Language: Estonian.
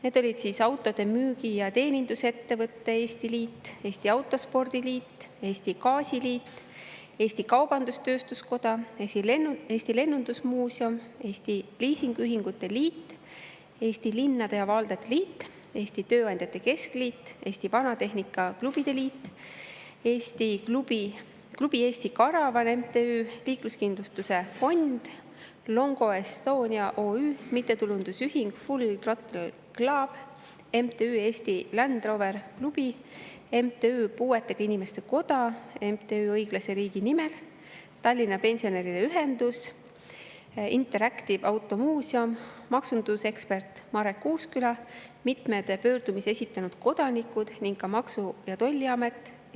Need olid Autode Müügi- ja Teenindusettevõtete Eesti Liit, Eesti Autospordi Liit, Eesti Gaasiliit, Eesti Kaubandus-Tööstuskoda, Eesti Lennundusmuuseum, Eesti Liisingühingute Liit, Eesti Linnade ja Valdade Liit, Eesti Tööandjate Keskliit, Eesti Vanatehnika Klubide Liit, Klubi Eesti Karavan MTÜ, Liikluskindlustuse Fond, Longo Estonia OÜ, MTÜ Full Throttle Club, MTÜ Eesti Land Roveri Klubi, MTÜ Puuetega Inimeste Koda, MTÜ Õiglase Riigi Nimel, Tallinna Pensionäride Ühendus, Interactive Auto Museum, maksundusekspert Marek Uusküla, mitmeid pöördumisi esitanud kodanikud ning ka Maksu- ja Tolliamet.